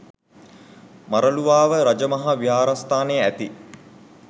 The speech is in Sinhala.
මරළුවාව රජ මහා විහාරස්ථානයේ ඇති